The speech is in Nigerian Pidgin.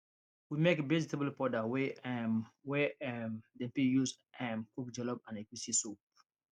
we make vegetable powder wey um wey um dem tek use um cook jollof and egusi soup